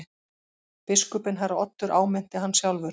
Biskupinn herra Oddur áminnti hann sjálfur.